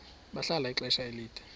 bahlala ixesha elide